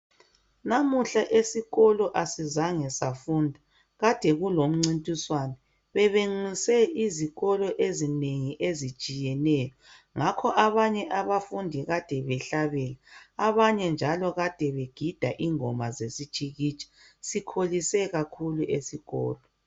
Namuhla esikolo asizange safunda kade kulomcintiswano bebenxuse izikolo ezinengi ezitshiyeneyo ngakho abanye abafundi kade behlabela abanye njalo kade begida ingoma zesitshikitsha sikholise kakhulu esikolo.